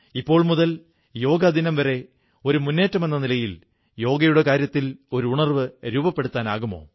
ഇപ്പോൾ മുതൽ യോഗ ദിനം വരെ ഒരു മുന്നേറ്റമെന്ന നിലയിൽ യോഗയുടെ കാര്യത്തിൽ ഒരു ഉണർവ്വ് രൂപപ്പെടുത്താനാകുമോ